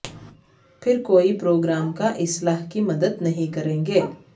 پھر کوئی پروگرام کا اصلاح کی مدد نہیں کریں گے